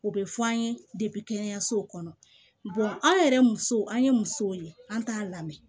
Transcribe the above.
O bɛ fɔ an ye kɛnɛyasow kɔnɔ an yɛrɛ musow an ye musow ye an t'a lamɛn